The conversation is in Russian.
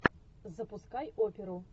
запускай оперу